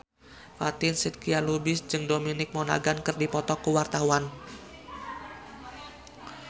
Fatin Shidqia Lubis jeung Dominic Monaghan keur dipoto ku wartawan